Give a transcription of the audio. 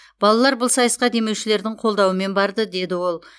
балалар бұл сайысқа демеушілердің қолдауымен барды деді ол